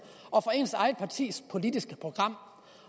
og for ens eget partis politiske program